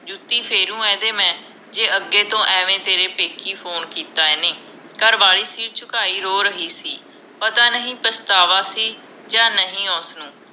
ਜੁੱਤੀ ਫੇਰੂ ਇਹਦੇ ਮੈਂ ਜੇ ਅਗੇ ਤੋਂ ਏਵੇ ਤੇਰੇ ਪੇਕੀ ਫੋਨ ਕੀਤਾ ਇਹਨੇ ਘਰਵਾਲੀ ਸਿਰ ਝੁਕਾਈ ਰੋ ਰਹੀ ਸੀ ਪਤਾ ਨਹੀਂ ਪਛਤਾਵਾ ਸੀ ਜਾ ਨਹੀਂ ਉਸ ਨੂੰ